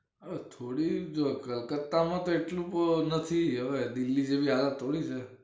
હ થોડી જ કલકતા માં તો એટલું નથી હવે દિલ્હી જેવી હાલત થોડી છે